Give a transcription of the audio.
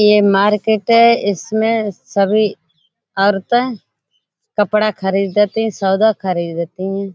ये मार्केट है। इसमें सभी औरतें कपड़ा खरीदती हैं सौदा खरीदती हैं।